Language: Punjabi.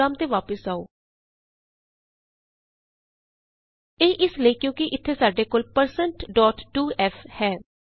ਪ੍ਰੋਗਰਾਮ ਤੇ ਵਾਪਸ ਆਉ ਇਹ ਇਸ ਲਈ ਕਿਉਂਕਿ ਇਥੇ ਸਾਡੇ ਕੋਲ1602f ਹੈ